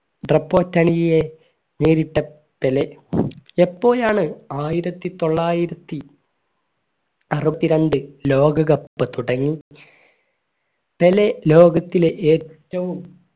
നേരിട്ട പെലെ എപ്പോഴാണ് ആയിരത്തിത്തൊള്ളായിരത്തി അറുപത്തിരണ്ട് ലോക cup തുടങ്ങി പെലെ ലോകത്തിലെ ഏറ്റവും